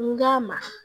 N k'a ma